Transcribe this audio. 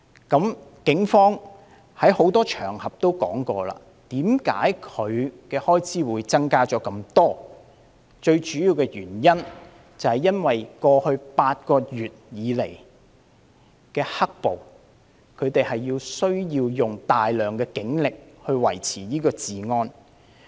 警方已在多個場合指出為何警隊的開支會大幅增加，最主要的原因是過去8個月以來的"黑暴"，他們需要大量警力維持治安。